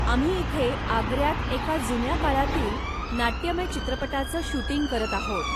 आम्ही इथे आग्र्यात एका जुन्या काळातील नाट्यमय चित्रपटाचं शूटिंग करत आहोत.